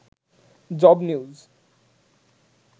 job news